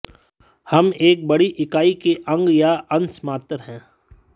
हम एक बड़ी इकाई के अंग या अंश मात्र है